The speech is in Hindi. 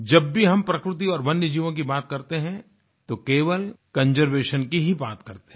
जब भी हम प्रकृति और वन्यजीवों की बात करते हैं तो केवल कंजर्वेशन की ही बात करते हैं